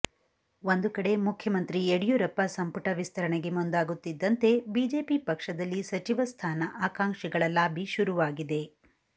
ಒಂದು ಕಡೆ ಮುಖ್ಯಮಂತ್ರಿ ಯಡಿಯೂರಪ್ಪ ಸಂಪುಟ ವಿಸ್ತರಣೆಗೆ ಮುಂದಾಗುತ್ತಿದ್ದಂತೆ ಬಿಜೆಪಿ ಪಕ್ಷದಲ್ಲಿ ಸಚಿವ ಸ್ಥಾನ ಆಕಾಂಕ್ಷಿಗಳ ಲಾಬಿ ಶುರುವಾಗಿದೆ